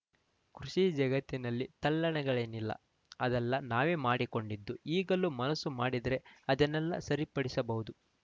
ಕೃಷಿ ಜಗತ್ತಿನಲ್ಲಿ ತಲ್ಲಣಗಳೇನಿಲ್ಲ ಅದೆಲ್ಲ ನಾವೇ ಮಾಡಿಕೊಂಡಿದ್ದು ಈಗಲೂ ಮನಸ್ಸು ಮಾಡಿದರೆ ಅದನ್ನೆಲ್ಲ ಸರಿಪಡಿಸಬಹುದು